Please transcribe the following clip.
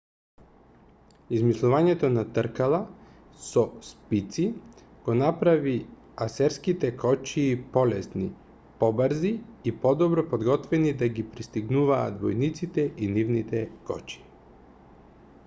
измислувањето на тркала со спици ги направи асирските кочии полесни побрзи и подобро подготвени да ги престигнуваат војниците и нивните кочии